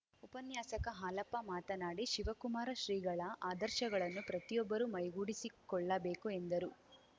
ಉಪನ್ಯಾಸಕ ಹಾಲಪ್ಪ ಮಾತನಾಡಿ ಶಿವಕುಮಾರ ಶ್ರೀಗಳ ಆದರ್ಶಗಳನ್ನು ಪ್ರತಿಯೊಬ್ಬರೂ ಮೈಗೂಡಿಸಿಕೊಳ್ಳಬೇಕು ಎಂದರು